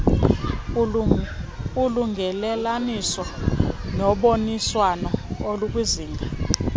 ulungelelaniso noboniswano olukwizinga